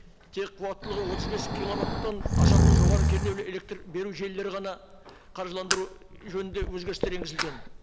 тек қуаттылығы отыз бес киловаттан асатын жоғары кернеулі электр беру желілері ғана қаржыландыру жөнінде өзгерістер енгізілген